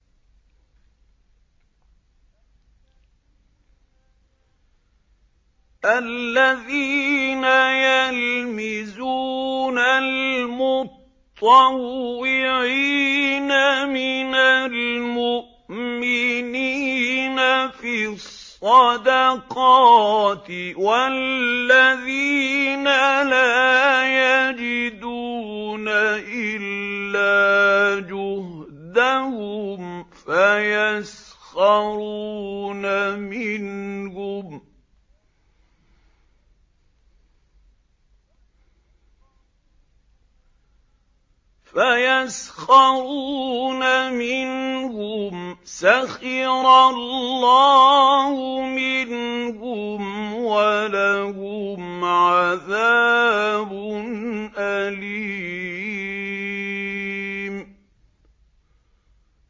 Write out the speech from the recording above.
الَّذِينَ يَلْمِزُونَ الْمُطَّوِّعِينَ مِنَ الْمُؤْمِنِينَ فِي الصَّدَقَاتِ وَالَّذِينَ لَا يَجِدُونَ إِلَّا جُهْدَهُمْ فَيَسْخَرُونَ مِنْهُمْ ۙ سَخِرَ اللَّهُ مِنْهُمْ وَلَهُمْ عَذَابٌ أَلِيمٌ